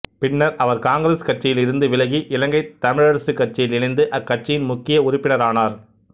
பின்னர் அவர் காங்கிரசுக் கட்சியில் இருந்து விலகி இலங்கைத் தமிழரசுக் கட்சியில் இணைந்து அக்கட்சியின் முக்கிய உறுப்பினரானார்